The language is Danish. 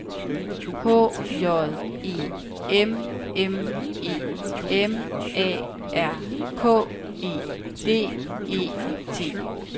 H J E M M E M A R K E D E T